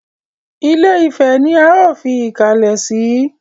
Ilé-ifẹ̀ ni ó fi ìkàlẹ̀ sí.